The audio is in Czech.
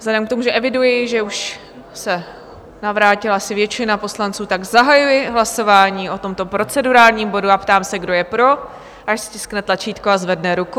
Vzhledem k tomu, že eviduji, že už se navrátila asi většina poslanců, tak zahajuji hlasování o tomto procedurálním bodu a ptám se, kdo je pro, ať stiskne tlačítko a zvedne ruku.